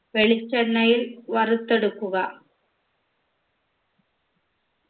വെളിച്ചെണ്ണയിൽ വറുത്തെടുക്കുക